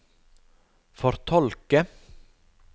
fortolke